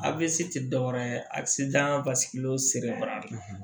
Avc ti dɔ wɛrɛ ye asidan basigiyɔrɔ